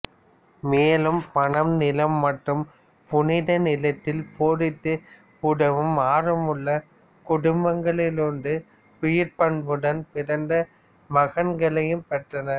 மேலும் பணம் நிலம் மற்றும் புனித நிலத்தில் போரிட்டு உதவும் ஆர்வமுள்ள குடும்பங்களிலிருந்து உயர்பண்புடன் பிறந்த மகன்களையும் பெற்றனர்